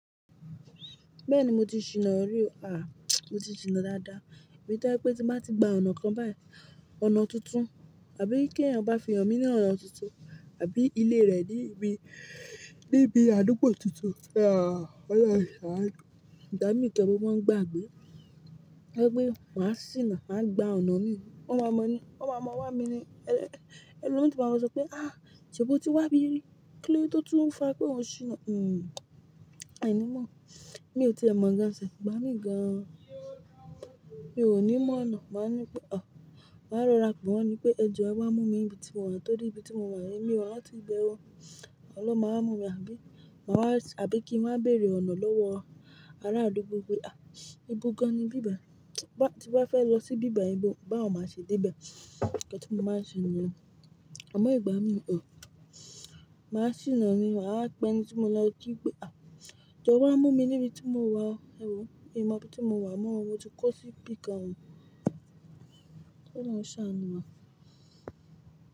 Bẹ́ẹ̀ni mo ti ṣìnà rí. À, mo ti ṣìnà dáadáa. Èmi tọ́ je pé tí máa ti gba ọ̀nà kan báyìí, ọ̀nà tuntun abi keeyan ba fi han mi ni ona tuntun abi ile re nibi adugbo tuntun, ah, oloun saanu, igba mii gan, mo mo n gbagbe lẹ́gbé pe máa ṣìnà, máa gba ọ̀nà mìí. Wọ́n máa mọ̀ ni, wọ́n máa mọ̀ wá mi ni. Ẹ̀lọmii o tun wa máa sọ pé "à, ṣé'bò ti wábí rìí? Kí ló de to tún fa pé òun ṣìnà?" Hmm, ení mọ̀. Mi ò tie mọ̀ gan self, igbá mi gan. Mi ò ní mọ̀nà. Màá ní pé "ọ̀, màá rọrà pe wọ́n ni pé ẹ jọ wá mú mi níbi tí mo wà." Torí íbi tí mo wà, èmi o rànti ibẹ o. Awọ̀n ló máa wa mú mi, àbí? Màá wá, àbí kí n wáa béèrè ọ̀nà lọ́wọ́ ará àdúgbò pé "à, ibo gan-an ni bíbài? Ti bá fẹ́ lọ síbí bài ibo, báwo màá ṣe dé'bẹ̀?" nkan tí mo máa ń ṣe niyen. Àmọ́ ìgbà mìí, ọ̀, màá ṣìnà ni mà wá pẹ eni tí mo lọ kí pé "à, jọ wá mú mi níbi tí mo wà. Ẹ wò ó, in mọ'bi tí mo wà mọ́ o, mo ti kó sí ibi kan." k'Ọlọ́run ṣàànu wa.